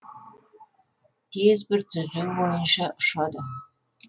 тез бір түзу бойынша ұшады